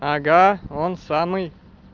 ага он самый